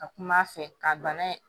Ka kuma a fɛ ka bana in